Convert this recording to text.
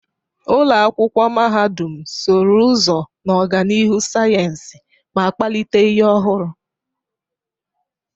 Ụlọ akwụkwọ mahadum sụrụ ụzọ n'ọganihu sayensị ma kpalite ihe ọhụrụ.